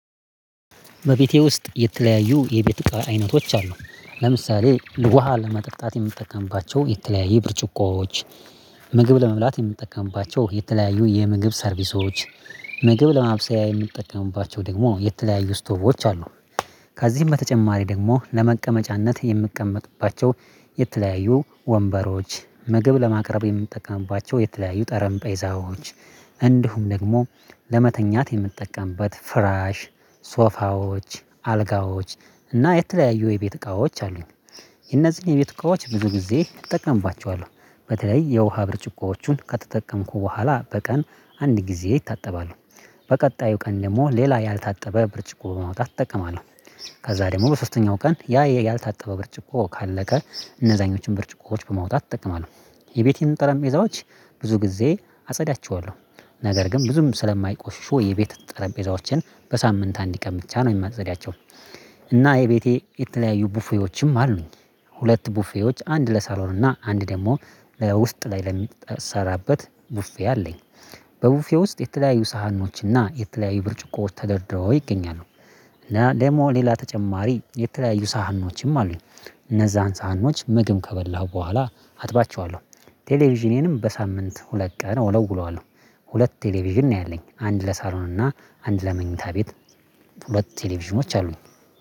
በቤቴ ውስጥ የተለያዩ የቤት እቃ አይነቶች አሉ። ለምሳሌ ውሃ ለመጠጣት የምትጠቀምባቸው የተለያዩ ብርጭቆዎች ምግብ ለመብላት የምንጠቀምባቸው የተለያዩ የምግብ ሰርቪሶች፣ ምግብ ለማብሰያ የምትጠቀምባቸው ደግሞ የተለያዩ ስቶቮች አሉ። ከዚህም በተጨማሪ ደግሞ ለመቀመጫነት የምቀመጥባቸው የተለያዩ ወንበሮች፣ ምግብ ለማቅረብ የምትጠቀምባቸው የተለያዩ ጠረጴዛ ዎች እንዲሁም ደግሞ ለመተኛት የምትጠቀምበት ፍራሽ፣ ሶፋዎች አልጋዎች እና የተለያዩ የቤት እቃዎች አሉኝ። የነዚህን የቤት እቃዎች ብዙ ጊዜ እጠቀምባቸዋለሁ። በተለይ የውሃ ብርጭቆዎቹን ከተጠቀምኩ በኋላ በቀን አንድ ጊዜ ይታጠባሉ። በቀጣዩ ቀን ደግሞ ሌላ ያልታጠበ ብርጭቆ በማውጣት እጠቀማለሁ። ከዛ ደግሞ በሶስተኛው ቀን ያ ያልታጠበ ብርጭቆ ካለቀ እነዛኞችን ብርጭቆዎች በማውጣት እጠቀማለሁ። የቤቴን ጠረጴዛዎች ብዙ ጊዜ አጸዳቸዋለሁ። ነገር ግን ብዙም ስለማይቆሽሹ የቤት ጠረጴዛዎችን በሳምንት አንድ ቀን ብቻ ነው የሚመጸዳቸው። እና የቤቴ የተለያዩ ቡፌዎችም አሉኝ። ሁለት ቡፌዎች አንድ ለሳሎን እና አንድ ደግሞ ለውስጥ ላይ ለሚሰራበት ቡፌ አለኝ። በቡፌ ውስጥ የተለያዩ ሳህኖች እና የተለያዩ ብርጭቆዎች ተደርድረው ይገኛሉ። እና ደግሞ ሌላ ተጨማሪ የተለያዩ ሳህኖችም አሉኝ። እነዛን ሳህኖች ምግብ ከበላሁ በኋላ አጥባቸዋለሁ። ቴሌቪዥኔንም በሳምንት ሁለት ቀን እወለውለዋለሁ። ሁለት ቴሌቪዥን ነው ያለኝ አንድ ለሳሎን እና አንድ ለመኝታ ቤት። ሁለት ቴሌቪዥኖች አሉኝ።